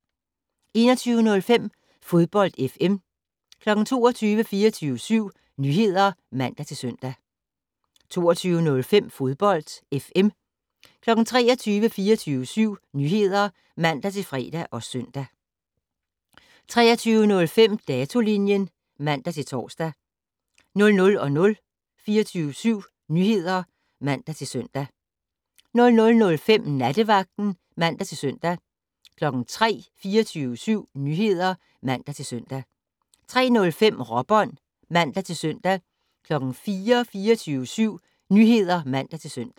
21:05: Fodbold FM 22:00: 24syv Nyheder (man-søn) 22:05: Fodbold FM 23:00: 24syv Nyheder (man-fre og søn) 23:05: Datolinjen (man-tor) 00:00: 24syv Nyheder (man-søn) 00:05: Nattevagten (man-søn) 03:00: 24syv Nyheder (man-søn) 03:05: Råbånd (man-søn) 04:00: 24syv Nyheder (man-søn)